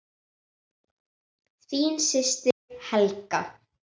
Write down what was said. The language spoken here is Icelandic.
Þín systir Helga.